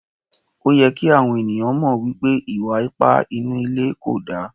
Òyẹ kí àwọn ènìyàn mọ̀ wípé ìwà ipá inú ilé kò da.